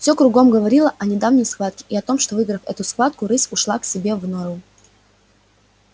всё кругом говорило о недавней схватке и о том что выиграв эту схватку рысь ушла к себе в нору